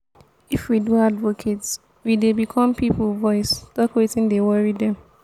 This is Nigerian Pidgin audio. if we do advocate we dey become pipo voice talk wetin dey worry dem.